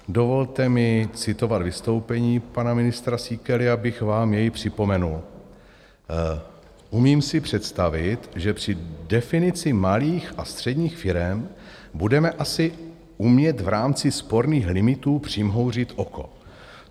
Dovolte mi citovat vystoupení pana ministra Síkely, abych vám jej připomenul: "Umím si představit, že při definici malých a středních firem budeme asi umět v rámci sporných limitů přimhouřit oko.